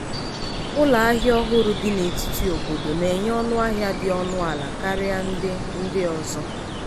ụlọahia ọhụrụ dị n'etiti n’obodo na-enye ọnụahịa dị ọnụ ala karịa ndị ndị ọzọ.